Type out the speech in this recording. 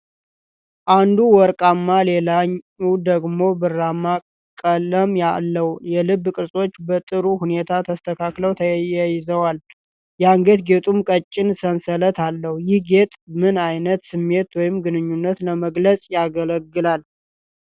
አንዱ ወርቃማ ሌላው ደግሞ ብርማ ቀለም አለው። የልብ ቅርጾቹ በጥሩ ሁኔታ ተስተካክለው ተያይዘዋል፤ የአንገት ጌጡም ቀጭን ሰንሰለት አለው። ይህ ጌጥ ምን ዓይነት ስሜት ወይም ግንኙነት ለመግለጽ ያገለግላል?